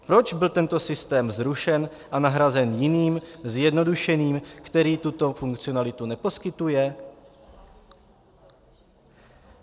Proč byl tento systém zrušen a nahrazen jiným, zjednodušeným, který tuto funkcionalitu neposkytuje?